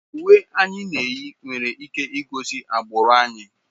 Uwe anyị na-eyi nwere ike igosi agbụrụ anyị.